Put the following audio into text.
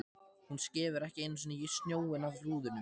Hún skefur ekki einu sinni snjóinn af rúðunum!